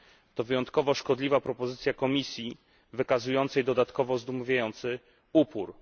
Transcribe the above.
To wyjątkowo szkodliwa propozycja Komisji, wykazującej dodatkowo zdumiewający upór.